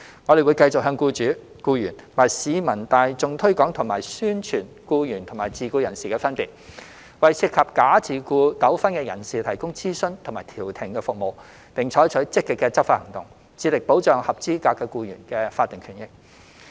我們會繼續向僱主、僱員及市民大眾推廣及宣傳僱員與自僱人士的分別，為涉及假自僱糾紛的人士提供諮詢及調停服務，並採取積極的執法行動，致力保障合資格僱員的法定權益。